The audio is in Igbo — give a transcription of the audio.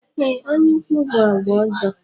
Ee, ányá ukwu bụ àgwà ọjọọ.